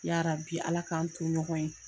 Yarabi Ala k'an to ɲɔgɔn ye.